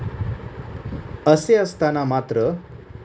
असे असताना मात्र,